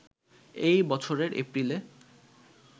এ বছরের এপ্রিলে